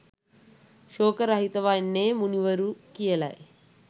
ශෝක රහිත වන්නේ මුනිවරු කියලයි.